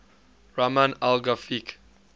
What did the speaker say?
rahman al ghafiqi